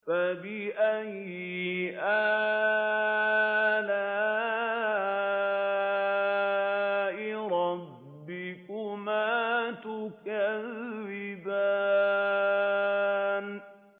فَبِأَيِّ آلَاءِ رَبِّكُمَا تُكَذِّبَانِ